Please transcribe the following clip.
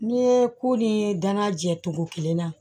N'i ye ko ni danna jɛ cogo kelen na